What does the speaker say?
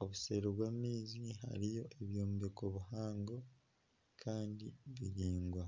Obuseeri bw'amaizi hariyo ebyombeko bihango kandi biraingwa.